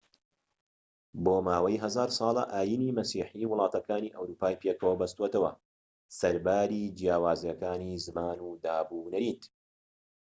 بۆ ماوەی هەزار ساڵە ئاینی مەسیحی وڵاتەکانی ئەوروپای پێکەوە بەستۆتەوە سەرباری جیاوازیەکانی زمان و دابونەریت